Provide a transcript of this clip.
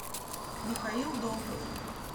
михаил долгов